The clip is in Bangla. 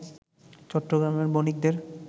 চট্টগ্রামের বণিকদের